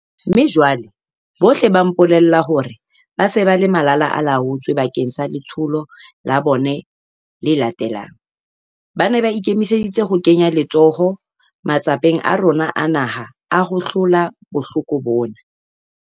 Mme jwale, bohle ba mpolella hore ba se ba le malalaalaotswe bakeng sa letsholo la bona le latelang. Ba ne ba ikemiseditse ho kenya letsoho matsapeng a rona a naha a ho hlola bohloko bona.